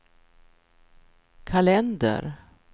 kalender